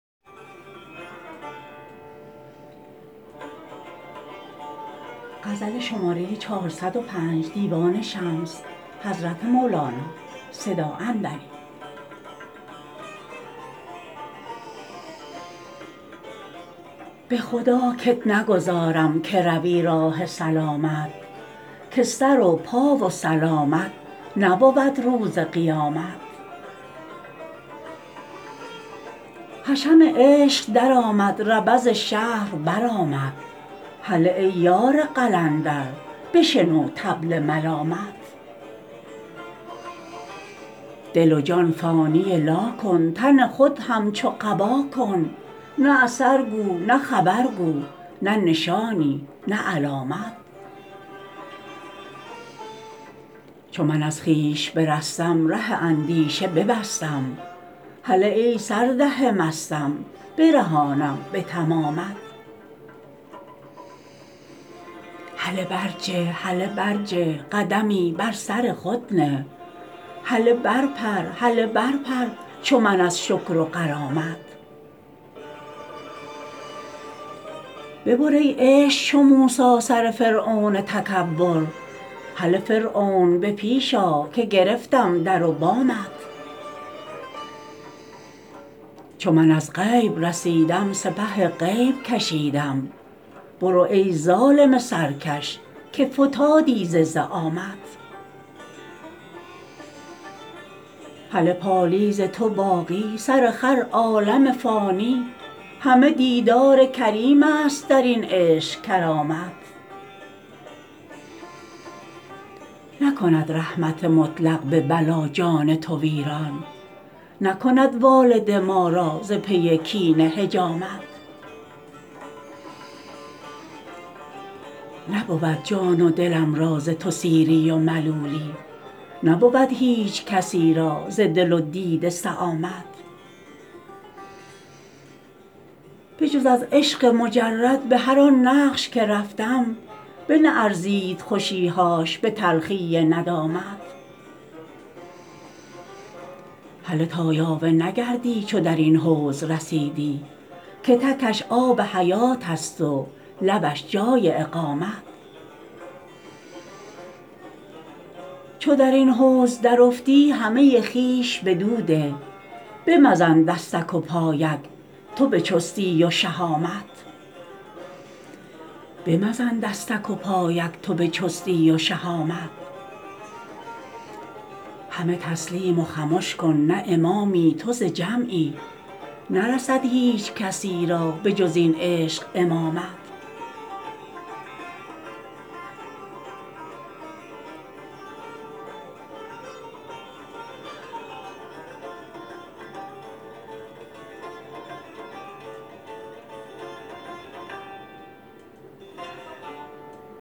به خدا کت نگذارم که روی راه سلامت که سر و پا و سلامت نبود روز قیامت حشم عشق درآمد ربض شهر برآمد هله ای یار قلندر بشنو طبل ملامت دل و جان فانی لا کن تن خود همچو قبا کن نه اثر گو نه خبر گو نه نشانی نه علامت چو من از خویش برستم ره اندیشه ببستم هله ای سرده مستم برهانم به تمامت هله برجه هله برجه قدمی بر سر خود نه هله برپر هله برپر چو من از شکر و غرامت ببر ای عشق چو موسی سر فرعون تکبر هله فرعون به پیش آ که گرفتم در و بامت چو من از غیب رسیدم سپه غیب کشیدم برو ای ظالم سرکش که فتادی ز زعامت هله پالیز تو باقی سر خر عالم فانی همه دیدار کریمست در این عشق کرامت نکند رحمت مطلق به بلا جان تو ویران نکند والده ما را ز پی کینه حجامت نبود جان و دلم را ز تو سیری و ملولی نبود هیچ کسی را ز دل و دیده سآمت بجز از عشق مجرد به هر آن نقش که رفتم بنه ارزید خوشی هاش به تلخی ندامت هله تا یاوه نگردی چو در این حوض رسیدی که تکش آب حیاتست و لبش جای اقامت چو در این حوض درافتی همه خویش بدو ده به مزن دستک و پایک تو به چستی و شهامت همه تسلیم و خمش کن نه امامی تو ز جمعی نرسد هیچ کسی را به جز این عشق امامت